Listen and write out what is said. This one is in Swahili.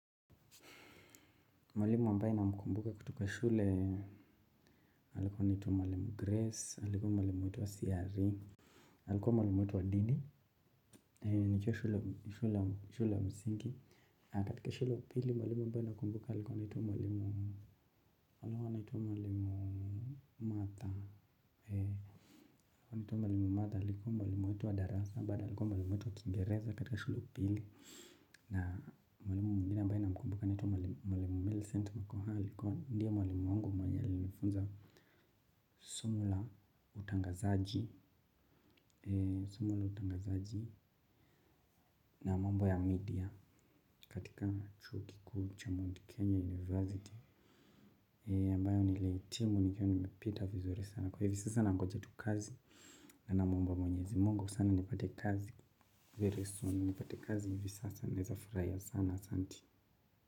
Mwalimu ambaye na mkumbuka kutoka shule, alikuwa anaitwa Mwalimu Grace, alikuwa mwalimu watu wa CRE. Alikuwa mwalimu watu wa dini, shule msingi. Katika shule ya pili, mwalimu ambaye na mkumbuka, alikuwa anaitwa Mwalimu Matha. Alikuwa Mwalimu Matha, alikuwa mwalimu wetu wa darasa, alikuwa mwalimu wetu wa Kingereza katika shule ya upili. Na mwalimu mwengine ambaye na mkumbuka anaitwa mwalimu milicenti makhoha. Ndiye mwenye alinifunza somo la utangazaji ni soma la utangazaji na mambo ya media katika chuo kikuu cha Mount Kenya University ni ambayo nilihitimu nikiwa nimepita vizuri sana. Kwa hivi sasa nangonje tu kazi na na mwomba mwenyezi Mungu sana nipate kazi very soon. Nipate kazi hivi sasa naeza furahia sana santi.